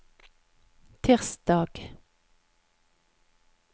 tirsdag